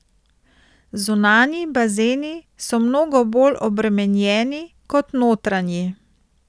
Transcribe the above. Zunanji bazeni so mnogo bolj obremenjeni kot notranji.